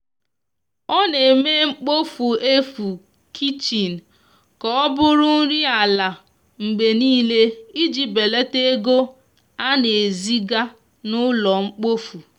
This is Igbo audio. ọ na eme mkpofu efu kichin ka ọbụrụ nri ala mgbe nile iji belata ego ana ezi ga n'ulo mkpofu